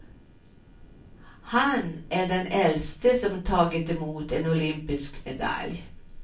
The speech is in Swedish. Han är den äldste som tagit emot en olympisk medalj.